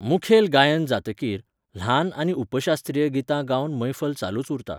मुखेल गायन जातकीर, ल्हान आनी उपशास्त्रीय गितां गावन मैफल चालूच उरता.